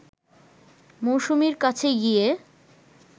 মৌসুমীর কাছে গিয়ে